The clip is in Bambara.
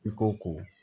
I ko ko